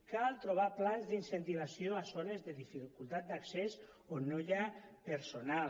cal trobar plans d’incentivació a zones de dificultat d’accés on no hi ha personal